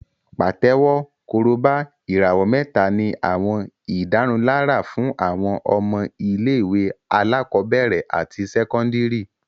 Pàtẹ́wọ́, Korobá, ìràwọ̀ mẹ́ta ní àwọn ìdárunlárà fún àwọn ọmọ ilé-ìwé alákọ̀ọ́bẹ̀rẹ̀ àti sẹ́kọ́ndìrì